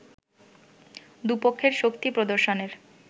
দু’পক্ষের শক্তি প্রদর্শনের